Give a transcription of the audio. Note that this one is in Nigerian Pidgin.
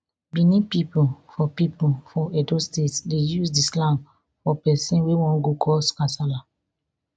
benin pipo for pipo for edo state dey use di slang for pesin wey wan go cause kasala